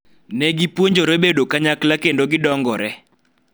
ne gipuonjore bedo kanyakla kendo gidongore